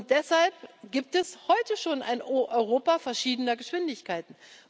Deshalb gibt es heute schon ein Europa verschiedener Geschwindigkeiten.